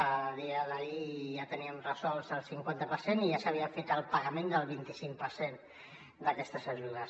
a dia d’ahir ja teníem resolts el cinquanta per cent i ja s’havia fet el pagament del vint cinc per cent d’aquestes ajudes